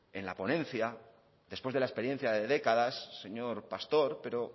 en la ponencia después de la experiencia de décadas señor pastor pero